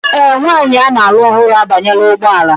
Ee, nwanyị a na-alụ ọhụrụ abanyela ụgbọ ala